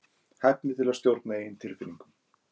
hæfni til að stjórna eigin tilfinningum